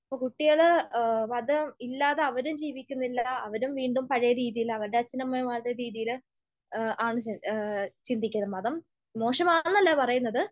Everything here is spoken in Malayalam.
അപ്പൊ കുട്ടികൾ മതം ഇല്ലാതെ അവരും ജീവിക്കുന്നില്ല. അവരും വീണ്ടും പഴയ രീതിയിൽ അവരുടെ അച്ഛനമ്മമാരുടെ രീതിയിൽ ആണ് ചിന്തിക്കുന്നത്. മതം മോശമാണെന്നല്ല പറയുന്നത്,